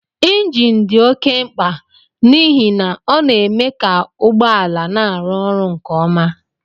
Injin dị oké mkpa n'ihi na ọ na-eme ka ụgbọ ala na-arụ ọrụ nke ọma